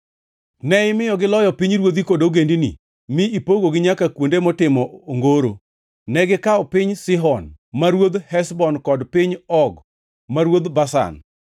“Ne imiyogi loyo pinyruodhi kod ogendini, mi ipogogi nyaka kuonde motimo ongoro. Negikawo piny Sihon ma ruodh Heshbon kod piny Og ma ruodh Bashan.